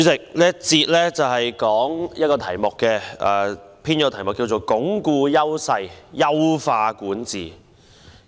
主席，這個環節的主題是"鞏固優勢、優化管治"。